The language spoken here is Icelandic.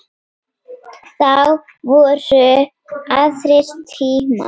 Þá voru aðrir tímar.